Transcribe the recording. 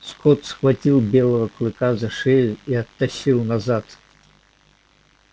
скотт схватил белого клыка за шею и оттащил назад